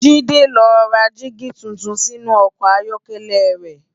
Jide n lò rá digi tútún sinú òkò áyòkèlè rè